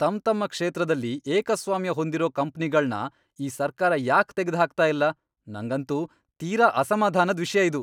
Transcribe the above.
ತಮ್ತಮ್ಮ ಕ್ಷೇತ್ರದಲ್ಲಿ ಏಕಸ್ವಾಮ್ಯ ಹೊಂದಿರೋ ಕಂಪ್ನಿಗಳ್ನ ಈ ಸರ್ಕಾರ ಯಾಕ್ ತೆಗ್ದ್ಹಾಕ್ತಾ ಇಲ್ಲ?! ನಂಗಂತೂ ತೀರಾ ಅಸಮಾಧಾನದ್ ವಿಷ್ಯ ಇದು.